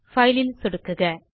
file ல் சொடுக்குக